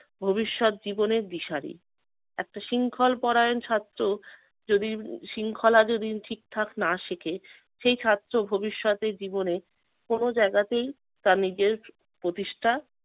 ভবিষ্যৎ জীবনের দিশারী। একটা শৃঙ্খল পরায়ণ ছাত্র যদি শৃঙ্খলা যদি ঠিকঠাক না শিখে সেই ছাত্র ভবিষ্যতে জীবনে কোন জায়গাতেই তার নিজের প্রতিষ্ঠা